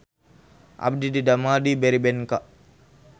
Abdi didamel di Berrybenka